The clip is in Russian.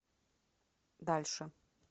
дальше